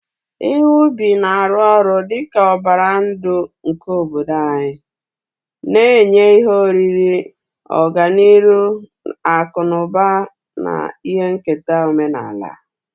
Ihe ubi na-arụ ọrụ dị ka ọbara ndụ nke obodo anyị, na-enye ihe oriri, ọganihu akụ na ụba, na ihe nketa omenala.